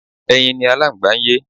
Ẹyin ni Aláǹgbá ń yé.